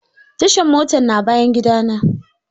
Tashan motar na bayan gida na.